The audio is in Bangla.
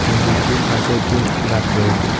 মন্দিরটির পাশে একটি গাছ রয়েছে।